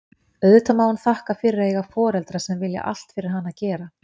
Auðvitað má hún þakka fyrir að eiga foreldra sem vilja allt fyrir hana gera.